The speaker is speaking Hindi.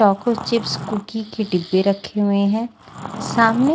चको चिप्स कुकी के डिब्बे रखे हुए हैं सामने--